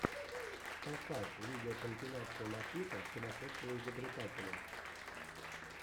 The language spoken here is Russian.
поставь видеокомпиляция матита сумасшедшего изобретателя